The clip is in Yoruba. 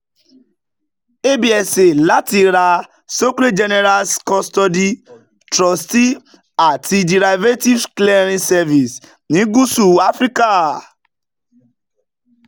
absa láti ra societe generale's custody trustee and derivatives clearing services ní gúúsù áfíríkà